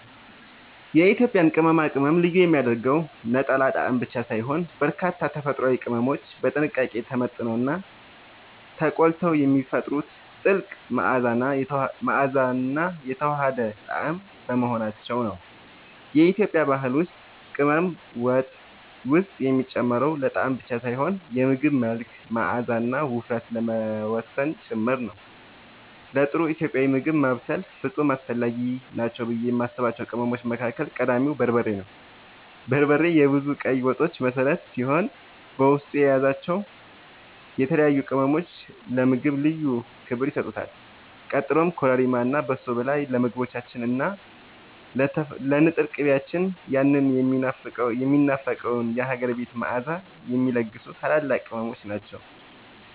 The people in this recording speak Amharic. የኢትዮጵያን ቅመማ ቅመም ልዩ የሚያደርገው ነጠላ ጣዕም ብቻ ሳይሆን፣ በርካታ ተፈጥሯዊ ቅመሞች በጥንቃቄ ተመጥነውና ተቆልተው የሚፈጥሩት ጥልቅ መዓዛና የተዋሃደ ጣዕም በመሆናቸው ነው። በኢትዮጵያ ባህል ውስጥ ቅመም ወጥ ውስጥ የሚጨመረው ለጣዕም ብቻ ሳይሆን የምግቡን መልክ፣ መዓዛና ውፍረት ለመወሰን ጭምር ነው። ለጥሩ ኢትዮጵያዊ ምግብ ማብሰል ፍጹም አስፈላጊ ናቸው ብዬ የማስባቸው ቅመሞች መካከል ቀዳሚው በርበሬ ነው። በርበሬ የብዙ ቀይ ወጦች መሠረት ሲሆን፣ በውስጡ የያዛቸው የተለያዩ ቅመሞች ለምግቡ ልዩ ክብር ይሰጡታል። ቀጥሎም ኮረሪማ እና በሶብላ ለምግቦቻችን እና ለንጥር ቅቤያችን ያንን የሚናፈቀውን የሀገር ቤት መዓዛ የሚለግሱ ታላላቅ ቅመሞች ናቸው።